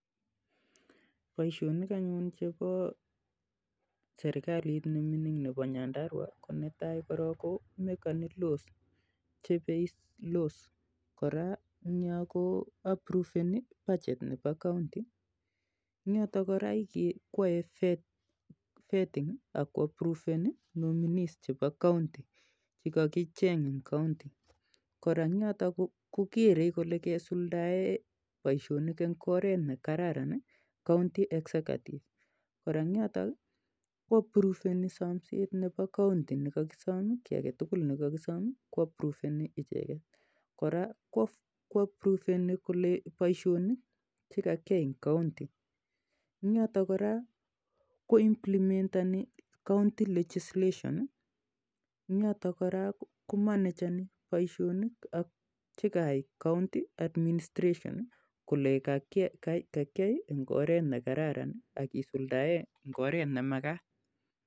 Boisionikap serikalit nemingin nebo nyandarua netaii ko chebei ngatutuk koraa Koo isirtoi bajet nebo 'county'koraa kiyai vetting akosirtoi 'nominees'che kaicheng eng 'county' koraa ko kerei kolee kesuldaen bishonik eng oret ne kararan 'county executive' koraa kosirtoi somset nebo county ak kogeree boisionik che ka kiyai eng county